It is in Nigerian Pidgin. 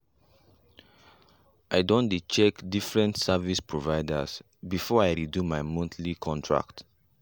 i done check different service providers before i redo my monthly contract